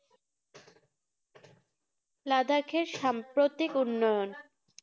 লাদাখের সাম্প্রতিক উন্নয়ন